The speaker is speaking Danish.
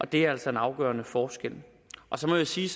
det er altså en afgørende forskel så må jeg sige